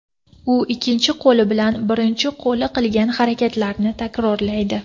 U ikkinchi qo‘li bilan birinchi qo‘li qilgan harakatlarni takrorlaydi.